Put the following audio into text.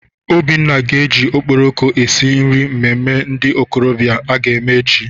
Obinna ga-eji okporoko esi nri mmemme ndị okorobịa aga eme echi.